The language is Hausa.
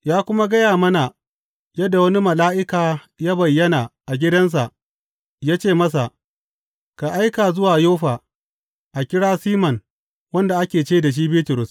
Ya kuma gaya mana yadda wani mala’ika ya bayyana a gidansa ya ce masa, Ka aika zuwa Yoffa a kira Siman wanda ake ce da shi Bitrus.